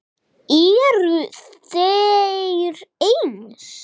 Eru þeir eins?